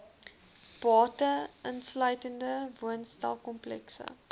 bates insluitende woonstelkomplekse